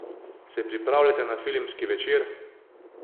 Se pripravljate na filmski večer?